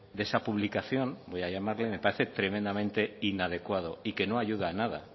de esa publicación voy a llamarle me parece tremendamente inadecuado y que no ayuda a nada